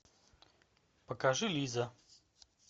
покажи лиза